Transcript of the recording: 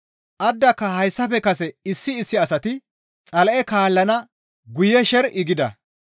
Addaka hayssafe kase issi issi asati Xala7e kaallana guye sher7i gida.